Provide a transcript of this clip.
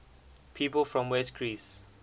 people from west greece